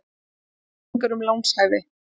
Seldi upplýsingar um lánshæfi